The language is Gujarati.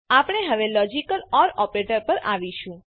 આપણે હવે લોજીકલ ઓર ઓપરેટર પર આવીશું